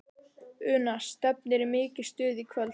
Una, stefnir í mikið stuð í kvöld?